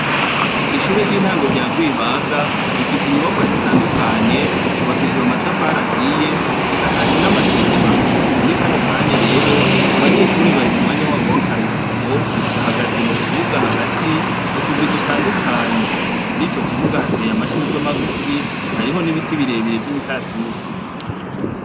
Ishure ry'intango rya rwebaga rifise inyubako zitandukanye zubakishijwe amatafari ahiye, zisakajwe n'amategura. Muri kano kanya rero, abanyeshure bari mu mwanya wabo w'akaruhuko, bahagaze mu kibuga hagati mu turwi dutandukanye. Kuri ico kibuga hateye amashurwe magufi, hariho n'ibiti bire bire vy'imikaratusi.